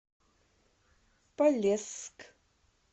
полесск